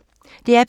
DR P2